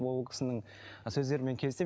ол кісінің сөздерімен келісемін